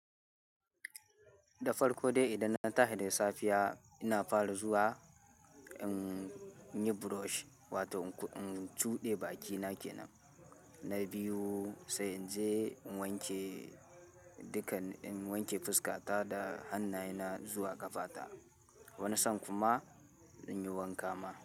Da farko dai idan na dan tahi da safiya ina fara zuwa in yi brush wato in cuɗe bakina kenan na biyu sai in je in wanke dukan, in wanke fuskata da hannayena zuwa ƙafa ta. Wani san kuma in yi wanka ma.